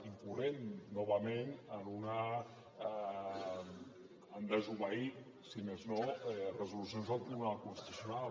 incorrent novament en desobeir si més no resolucions del tribunal constitucional